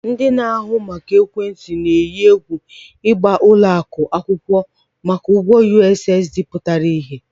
Telecoms operators are threatening to sue banks over their outstanding USSD debt